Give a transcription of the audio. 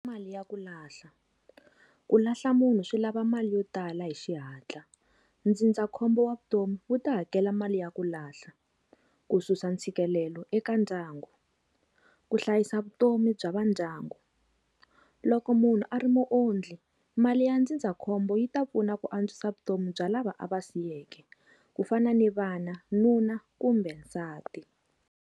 Mali ya ku lahla, ku lahla munhu swi lava mali yo tala hi xihatla ndzindzakhombo wa vutomi wu ta hakela mali ya ku lahla, ku susa ntshikelelo eka ndyangu, ku hlayisa vutomi bya va ndyangu. Loko munhu a ri mu ondli mali ya ndzindzakhombo yi ta pfuna ku antswisa vutomi bya lava a va siyeke ku fana ni vana, nuna kumbe nsati.